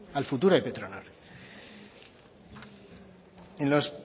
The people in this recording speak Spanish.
al futuro de petronor en los